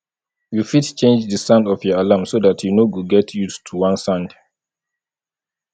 you fit change di sound of your alarm so dat you no go get used to one sound